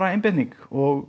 einbeiting og